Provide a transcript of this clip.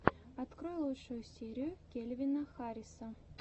открой лучшую серию кельвина харриса